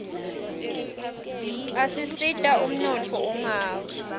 asita umnotfo ungawi